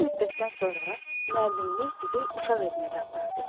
Bir müddətdən sonra müəllimimiz bizi uşaq evinə də apardı.